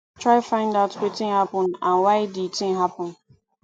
try find out wetin happen and why di thing happen